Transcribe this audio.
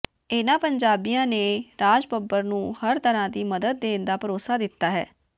ਇਨ੍ਹਾਂ ਪੰਜਾਬੀਆਂ ਨੇ ਰਾਜ ਬੱਬਰ ਨੂੰ ਹਰ ਤਰ੍ਹਾਂ ਦੀ ਮਦਦ ਦੇਣ ਦਾ ਭਰੋਸਾ ਦਿੱਤਾ ਹੈ